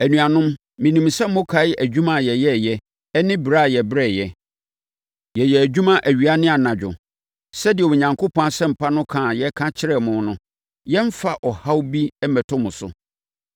Anuanom, menim sɛ mokae adwuma a yɛyɛeɛ ne brɛ a yɛbrɛeɛ. Yɛyɛɛ adwuma awia ne anadwo sɛdeɛ Onyankopɔn Asɛmpa no ka a yɛka kyerɛɛ mo no, yɛremfa ɔhaw bi mmɛto mo so.